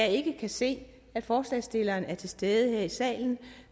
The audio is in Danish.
ikke kan se at forslagsstilleren er til stede her i salen